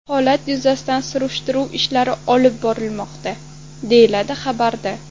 Holat yuzasidan surishtiruv ishlari olib borilmoqda, deyiladi xabarda.